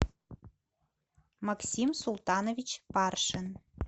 максим султанович паршин